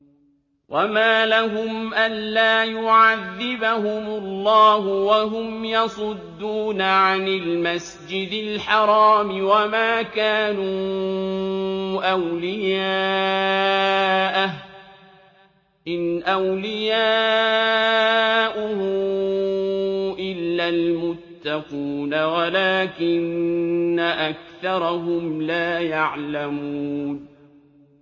وَمَا لَهُمْ أَلَّا يُعَذِّبَهُمُ اللَّهُ وَهُمْ يَصُدُّونَ عَنِ الْمَسْجِدِ الْحَرَامِ وَمَا كَانُوا أَوْلِيَاءَهُ ۚ إِنْ أَوْلِيَاؤُهُ إِلَّا الْمُتَّقُونَ وَلَٰكِنَّ أَكْثَرَهُمْ لَا يَعْلَمُونَ